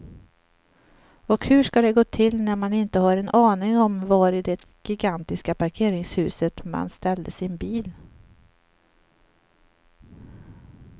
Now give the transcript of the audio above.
Och hur ska det gå till när man inte har en aning om var i det gigantiska parkeringshuset man ställde sin bil.